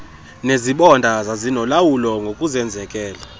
nezibonda zazinolawulo ngokuzenzekela